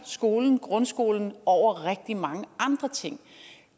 grundskolen over rigtig mange andre ting